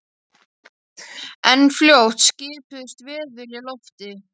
En fljótt skipuðust veður í lofti.